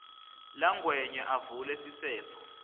langwenya avule sisefo